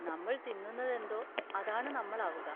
നമ്മൾ തിന്നുന്നതെന്തോ അതാണ് നമ്മൾ ആവുക.